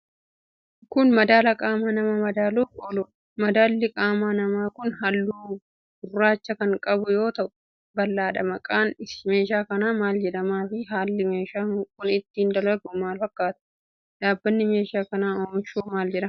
Kun, madaala qaama namaa madaaluuf ooludha. Madaalli qaama namaa kun, haalluu gurraacha kan qabu yoo ta'u ,bal'adha. Maqaan meeshaa kanaa maal jedhama fi haalli meeshaan kun ittiin dalagu maal fakkaata. Dhaabbanni meeshaa kana oomishu, maal jedhama?